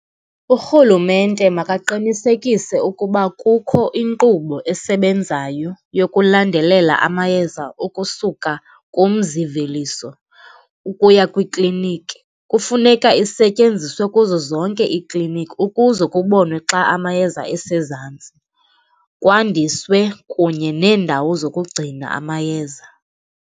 Urhulumente makaqinisekise ukuba kukho inkqubo esebenzayo yokulandelela amayeza okusuka kumzimveliso ukuya kwiklinikhi. Kufuneka isetyenziswe kuzo zonke iikliniki ukuze kubonwe xa amayeza esezantsi, kwandiswe kunye neendawo zokugcina amayeza.